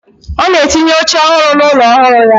Ona etinye oche ohuru na ulo ohuru ya.